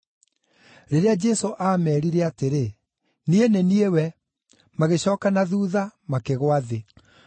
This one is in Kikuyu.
Rĩrĩa Jesũ aameerire atĩrĩ, “Niĩ nĩ niĩ we,” magĩcooka na thuutha makĩgũa thĩ.